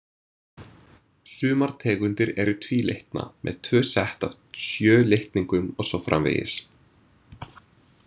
Sumar tegundir eru tvílitna, með tvö sett af sjö litningum og svo framvegis.